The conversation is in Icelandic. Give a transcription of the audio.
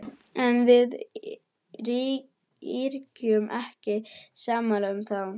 En við yrkjum ekki sálma um þá.